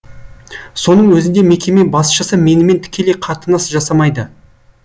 соның өзінде мекеме басшысы менімен тікелей қатынас жасамайды